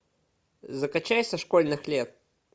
закачай со школьных лет